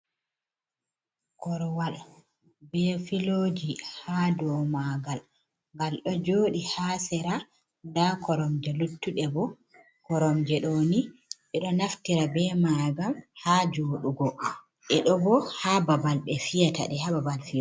Korwal be filoji ha dau ma ngal. Ngal ɗo joɗi ha sera. Nda korom je luttuɗe. Korom je ɗo ni ɓeɗo naftira be majum ha joɗugo. Ɓe ɗo bo ha babal ɓe fiyata ɗe hababal fiyugo.